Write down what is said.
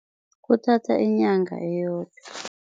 Kuthatha inyanga eyodwa.